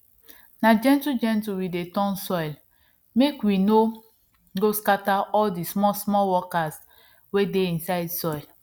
na gentle gentle we dey turn soil mek we no go scatter all di smallsmall workers wey dey inside soil